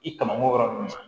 I kama ko yɔrɔ nunnu na